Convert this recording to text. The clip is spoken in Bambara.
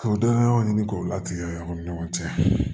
K'o dɔnniyaw ɲini k'o latigɛ yan o ni ɲɔgɔn cɛ